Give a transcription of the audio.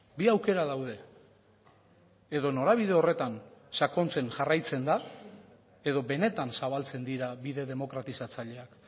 bi aukera daude edo norabide horretan sakontzen jarraitzen da edo benetan zabaltzen dira bide demokratizatzaileak